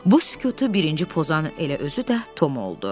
Bu sükutu birinci pozan elə özü də Tom oldu.